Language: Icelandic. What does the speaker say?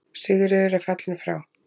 Sigríður er fallin frá.